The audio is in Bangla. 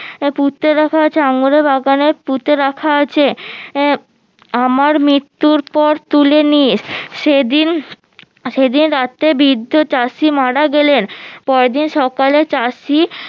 আহ পুঁতে রাখা আছে আঙুরের বাগানে পুঁতে রাখা আছে আহ আমার মৃত্যুর পর তুলে নিস সেদিন সেদিন রাতে বৃদ্ধ চাষি মারা গেলেন পরেরদিন সকালে চাষী